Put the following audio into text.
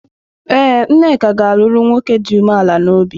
Ee, Nneka ga-alụrụ nwoke dị umeala n’obi.